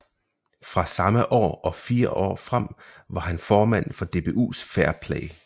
Fra samme år og fire år frem var han formand for DBUs Fair Play